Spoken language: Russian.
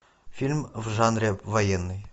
фильм в жанре военный